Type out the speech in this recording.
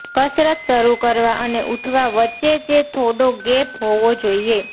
કસરત શરુ કરવા અને ઉઠવા વચેચે થોડો ગેપ હોવો જોઇએ